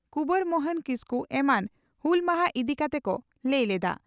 ᱠᱩᱣᱟᱨ ᱢᱚᱦᱚᱱ ᱠᱤᱥᱠᱩ ᱮᱢᱟᱱ ᱦᱩᱞ ᱢᱟᱦᱟ ᱤᱫᱤ ᱠᱟᱛᱮ ᱠᱚ ᱞᱟᱹᱭ ᱞᱮᱫᱼᱟ ᱾